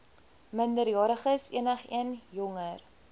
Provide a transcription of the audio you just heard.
minderjariges enigeen jonger